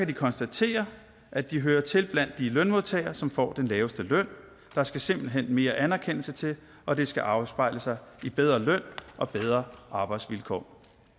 de konstatere at de hører til blandt de lønmodtagere som får den laveste løn der skal simpelt hen mere anerkendelse til og det skal afspejle sig i bedre løn og bedre arbejdsvilkår